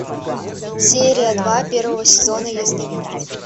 серия два первого сезона ясновидец